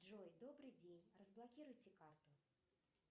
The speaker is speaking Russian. джой добрый день разблокируйте карту